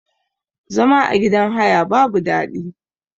Zama a gidan haya babu daɗi.